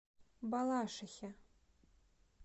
балашихе